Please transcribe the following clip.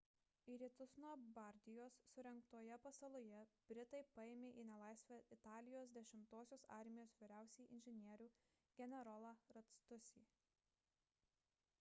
į rytus nuo bardijos surengtoje pasaloje britai paėmė į nelaisvę italijos 10-osios armijos vyriausiąjį inžinierių generolą lastuccį